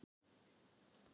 Hefur þú verið á túr?